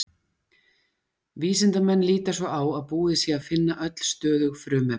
Vísindamenn líta svo á að búið sé að finna öll stöðug frumefni.